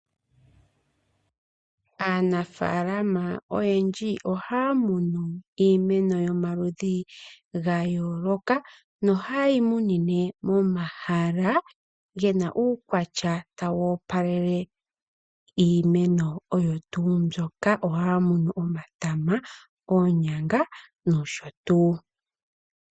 Aanafaalama oyendji ohaya munu iimeno yomaludhi ga yooloka no hayeyi munine momahala gena uukwatya tawu opalele iimeno oyo tuu mbyoka . Ohaya munu omatama, oonyanga, nosho tuu.